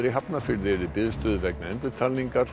í Hafnarfirði eru í biðstöðu vegna